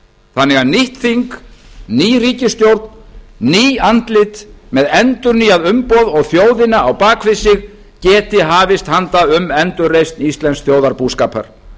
þannig að nýtt þing ný ríkisstjórn ný andlit með endurnýjað umboð og þjóðina á bak við sig geti hafist handa um endurreisn íslensks þjóðarbúskapar